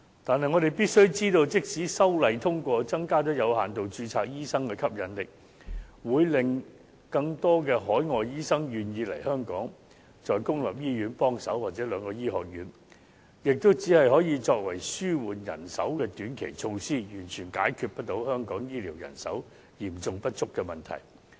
但是，我們必須知道，即使通過修訂條例草案，有限度註冊醫生的吸引力增加，會令更多海外醫生願意來港在公立醫院或兩間醫學院提供協助，但這只可作為紓緩人手的短期措施，完全不能解決香港醫療人手嚴重不足的問題。